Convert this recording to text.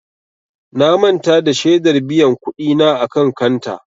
Na manta da shedar biyan kuɗi na a kan kanta.